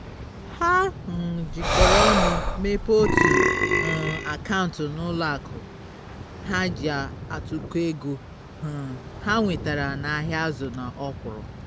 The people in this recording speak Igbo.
ha um jikoro ọnụ mepee otu um akaụntụ n'ụlọ akụ ha ji atụkọ ego um ha nwetara n'ahịa azụ na ọkwụrụ